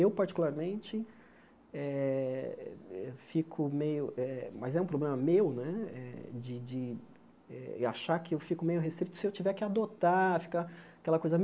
Eu, particularmente eh, fico meio eh... mas é um problema meu né eh de de eh achar que eu fico meio restrito se eu tiver que adotar ficar aquela coisa.